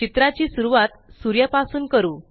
चित्राची सुरवात सूर्या पासून करू